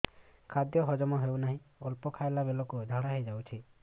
ଖାଦ୍ୟ ହଜମ ହେଉ ନାହିଁ ଅଳ୍ପ ଖାଇଲା ବେଳକୁ ଝାଡ଼ା ହୋଇଯାଉଛି